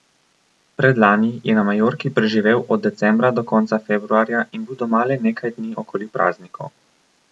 Predlani je na Majorki preživel od decembra do konca februarja in bil doma le nekaj dni okoli praznikov.